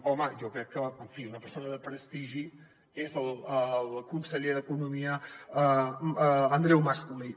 home jo crec que en fi una persona de prestigi és el conseller d’economia andreu mas colell